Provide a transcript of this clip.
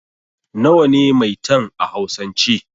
Nawa ne 'Maitan' a hausan ce?